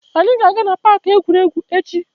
Anyị ga-aga na paaki egwuregwu echi.